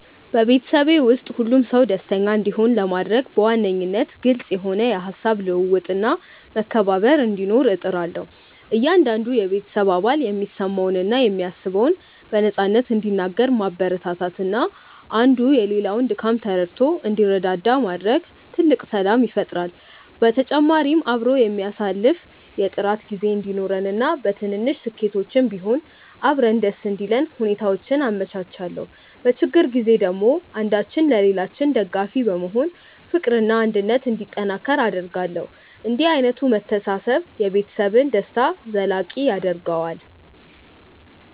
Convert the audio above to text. በቤተሰቤ ውስጥ ሁሉም ሰው ደስተኛ እንዲሆን ለማድረግ በዋነኝነት ግልጽ የሆነ የሃሳብ ልውውጥና መከባበር እንዲኖር እጥራለሁ። እያንዳንዱ የቤተሰብ አባል የሚሰማውንና የሚያስበውን በነፃነት እንዲናገር ማበረታታትና አንዱ የሌላውን ድካም ተረድቶ እንዲረዳዳ ማድረግ ትልቅ ሰላም ይፈጥራል። በተጨማሪም አብሮ የሚያሳልፍ የጥራት ጊዜ እንዲኖረንና በትንንሽ ስኬቶችም ቢሆን አብረን ደስ እንዲለን ሁኔታዎችን አመቻቻለሁ። በችግር ጊዜ ደግሞ አንዳችን ለሌላችን ደጋፊ በመሆን ፍቅርና አንድነት እንዲጠናከር አደርጋለሁ። እንዲህ ዓይነቱ መተሳሰብ የቤተሰብን ደስታ ዘላቂ ያደርገዋል።